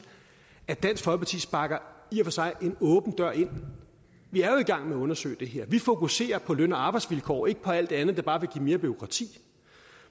at dansk for sig sparker en åben dør ind vi er jo i gang med at undersøge det her vi fokuserer på løn og arbejdsvilkår og ikke på alt det andet der bare vil give mere bureaukrati